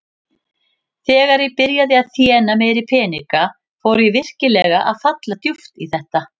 Þegar ég byrjaði að þéna meiri peninga fór ég virkilega að falla djúpt í þetta.